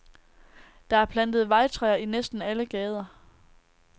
Der er plantet vejtræer i næsten alle gader.